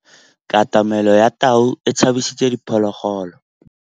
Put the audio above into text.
Katamêlô ya tau e tshabisitse diphôlôgôlô.